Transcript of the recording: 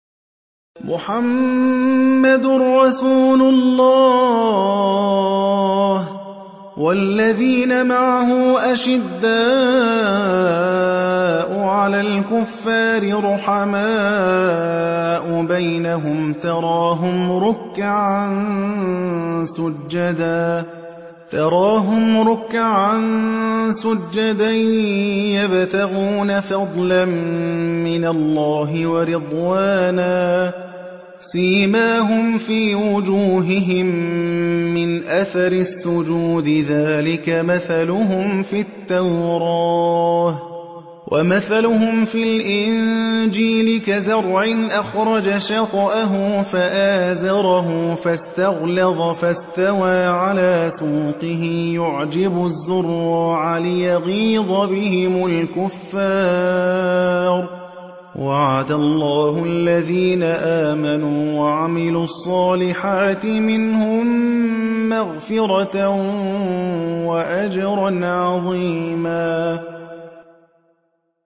مُّحَمَّدٌ رَّسُولُ اللَّهِ ۚ وَالَّذِينَ مَعَهُ أَشِدَّاءُ عَلَى الْكُفَّارِ رُحَمَاءُ بَيْنَهُمْ ۖ تَرَاهُمْ رُكَّعًا سُجَّدًا يَبْتَغُونَ فَضْلًا مِّنَ اللَّهِ وَرِضْوَانًا ۖ سِيمَاهُمْ فِي وُجُوهِهِم مِّنْ أَثَرِ السُّجُودِ ۚ ذَٰلِكَ مَثَلُهُمْ فِي التَّوْرَاةِ ۚ وَمَثَلُهُمْ فِي الْإِنجِيلِ كَزَرْعٍ أَخْرَجَ شَطْأَهُ فَآزَرَهُ فَاسْتَغْلَظَ فَاسْتَوَىٰ عَلَىٰ سُوقِهِ يُعْجِبُ الزُّرَّاعَ لِيَغِيظَ بِهِمُ الْكُفَّارَ ۗ وَعَدَ اللَّهُ الَّذِينَ آمَنُوا وَعَمِلُوا الصَّالِحَاتِ مِنْهُم مَّغْفِرَةً وَأَجْرًا عَظِيمًا